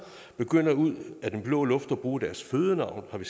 ud af den blå luft begynder at bruge deres fødenavn som